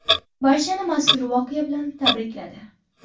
Barchani mazkur voqea bilan tabrikladi.